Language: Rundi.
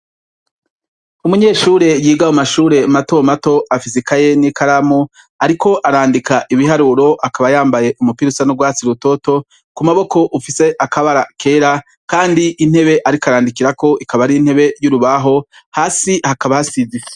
Umunyeshure yiga mu mashure mato mato, afise ikaye n' ikaramu, ariko arandika ibiharuro, akaba yambaye umupira usa n' urwatsi rutoto, Ku maboko ufise akabara kera, kandi intebe ariko arandikirako ikaba ari intebe y' urubaho, hasi hakaba hasize isima.